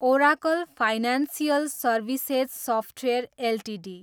Oracle financial services software Ltd